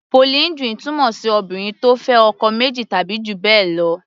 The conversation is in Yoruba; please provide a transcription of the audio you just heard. Polyndry túmọ̀ sí Obìnrin tó fẹ́ ọkọ méjì tàbí jù bẹ́ẹ̀ lọ.